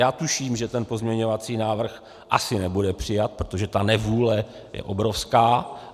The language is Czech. Já tuším, že ten pozměňovací návrh asi nebude přijat, protože ta nevůle je obrovská.